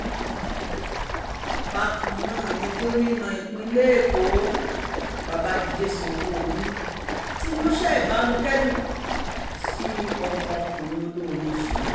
bákan náà ni gómìnà ìpínlẹ̀ èkó babájídé sanwoluu ti ránṣẹ́ ìbánikẹ́dùn sí ọmọkùnrin olórin yìí